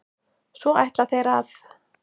Svo ætla þeir að?